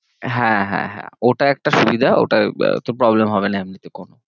হ্যাঁ হ্যাঁ হ্যাঁ, ওটা একটা সুবিধা, ওটায়ে তোর problem হবে না এমনিতে কোনো।